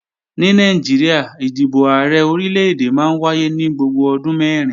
Ní Nàìjíríà, ìdìbò Ààrẹ Orílè-èdè máa ń wáyé ní gbogbo ọdún mẹ́rin